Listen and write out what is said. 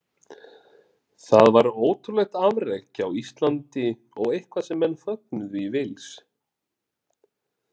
Það var ótrúlegt afrek hjá Íslandi og eitthvað sem menn fögnuðu í Wales.